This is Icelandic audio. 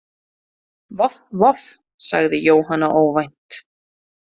Voff voff, sagði Jóhanna óvænt.